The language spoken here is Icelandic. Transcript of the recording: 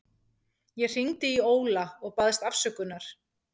Ég hringdi í Óla og baðst afsökunar.